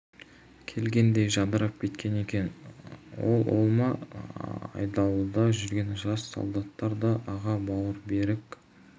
келгендей жадырап кеткен екен ол ол ма айдауылда жүрген жас солдаттар да аға бауы берік